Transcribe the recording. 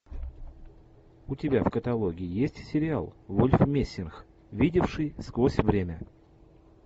у тебя в каталоге есть сериал вольф мессинг видевший сквозь время